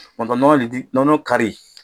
Tuma dɔ nɔnɔlitiri nɔnɔ kari